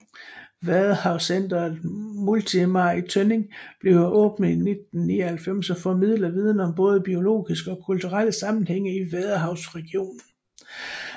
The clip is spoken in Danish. Vadehavscentret Multimar i Tønning blev åbnet i 1999 og formidler viden om både biologiske og kulturelle sammenhænge i vadehavsregionen